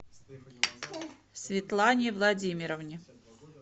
светлане владимировне